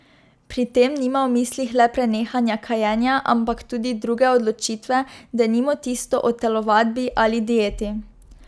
Pri tem nima v mislih le prenehanja kajenja, ampak tudi druge odločitve, denimo tisto o telovadbi ali dieti.